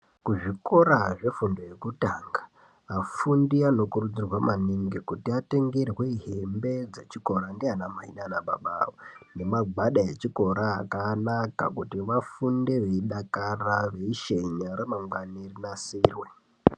Ku zvikora zve fundo yekutanga vafundi vano kurudzirwa maningi kuti atengerwe hembe dze chikora ndiana mai nana baba ne magwada echikora akanaka kuti vafunde vei dakara veishenya ra mangwani rinasirwe.